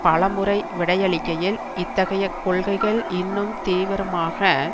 பல முறை விடையளிக்கையில் இத்தகைய கொள்கைகள் இன்னும் தீவிரமாக